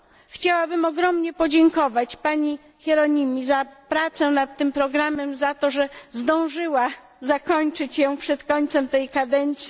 Chciałabym ogromnie podziękować pani Hieronymi za pracę nad tym programem, za to, że zdążyła zakończyć ją przed końcem tej kadencji.